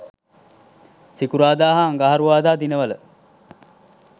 සිකුරාදා හා අඟහරුවාදා දිනවල